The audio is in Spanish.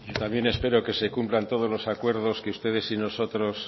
también espero que se cumplan todos los acuerdos que ustedes y nosotros